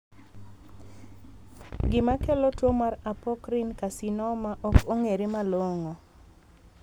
Gima kelo tuo mar Apocrine carcinoma ok ong'ere malongo.